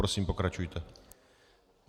Prosím, pokračujte.